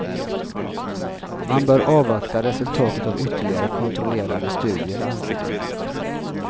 Man bör avvakta resultat av ytterligare kontrollerade studier, anser de.